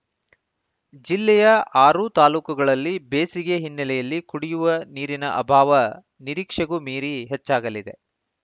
ಜಿಲ್ಲೆಯ ಆರೂ ತಾಲೂಕುಗಳಲ್ಲಿ ಬೇಸಿಗೆ ಹಿನ್ನೆಲೆಯಲ್ಲಿ ಕುಡಿಯುವ ನೀರಿನ ಅಭಾವ ನಿರೀಕ್ಷೆಗೂ ಮೀರಿ ಹೆಚ್ಚಾಗಲಿದೆ